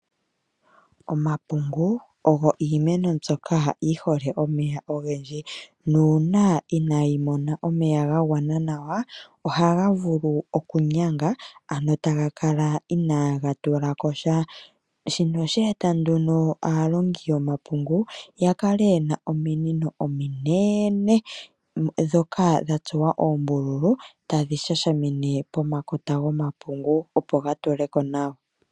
Omapungu ogo iimeno mbyoka yi hole omeya ogendji. Nuuna inaayi mona omeya ga gwana nawa ohaga vulu okunyanga ano ta ga kala inaga tula ko sha. Shino osha e ta nduno aalongi yomapungu ya kale ye na ominino ominene ndhoka dha tsuwa oombululu tadhi shashamine pomakota gomapungu opo ga tule ko nawa.